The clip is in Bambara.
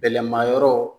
Bɛlɛmayɔrɔ